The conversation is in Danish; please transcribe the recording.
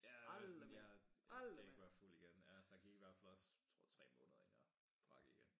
Ja sådan jeg jeg skal ikke være fuld igen ja der gik i hver fald også tror 3 måneder inden jeg drak igen